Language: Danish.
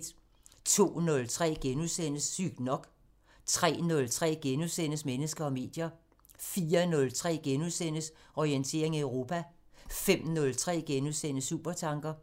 02:03: Sygt nok * 03:03: Mennesker og medier * 04:03: Orientering Europa * 05:03: Supertanker *